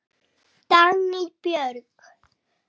Dagný Björg.